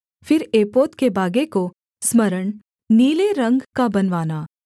फिर एपोद के बागे को सम्पूर्ण नीले रंग का बनवाना